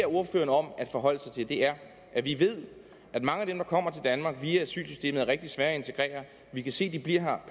ordføreren om at forholde sig til er at vi ved at mange af dem der kommer til danmark via asylsystemet er rigtig svære at integrere vi kan se at de bliver her